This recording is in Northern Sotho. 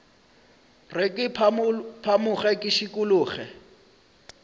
re ke phamoge ke šikologe